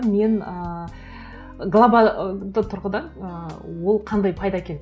мын ыыы глобалды тұрғыдан ыыы ол қандай пайда әкеледі